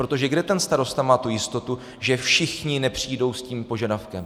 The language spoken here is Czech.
Protože kde ten starosta má tu jistotu, že všichni nepřijdou s tím požadavkem?